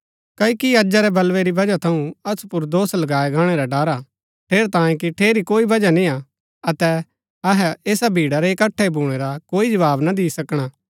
क्ओकि अजा रै बलवे री वजह थऊँ असु पुर दोष लगाये गाणै रा ड़र हा ठेरैतांये कि ठेरी कोई वजह निय्आ अतै अहै ऐसा भीड़ा रै इकट्ठा भूणै रा कोई जवाव ना दि सकणा